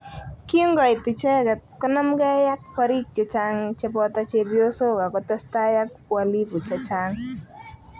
Kingoit icheket konamgei ak parik chechang chepoto chepyosok akotestai ak uhalifu chechang.